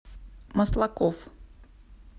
маслаков